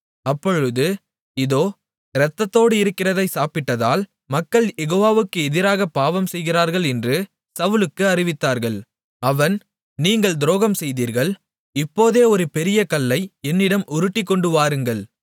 அப்பொழுது இதோ இரத்தத்தோடு இருக்கிறதை சாப்பிட்டதால் மக்கள் யெகோவாவுக்கு எதிராக பாவம் செய்கிறார்கள் என்று சவுலுக்கு அறிவித்தார்கள் அவன் நீங்கள் துரோகம்செய்தீர்கள் இப்போதே ஒரு பெரிய கல்லை என்னிடம் உருட்டிக்கொண்டுவாருங்கள்